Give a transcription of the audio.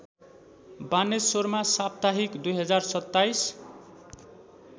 बानेश्वरमा साप्ताहिक २०२७